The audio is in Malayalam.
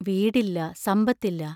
വീടില്ല; സമ്പത്തില്ല.